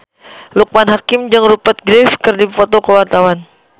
Loekman Hakim jeung Rupert Graves keur dipoto ku wartawan